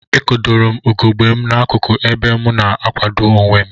Ekodorom ugegbe mu na akuku ebe mu na akwado onwem.